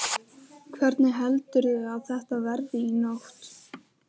Hvernig heldurðu að þetta verði í nótt?